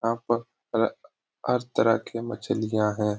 यहाँ पर तरह तरह की मछलियाँ है ।